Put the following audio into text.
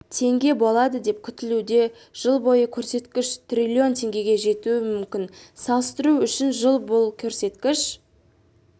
теңге болады деп күтілуде жылы бұл көрсеткіш трлн теңгеге жетуі мүмкін салыстыру үшін жылы бұл көрсеткіш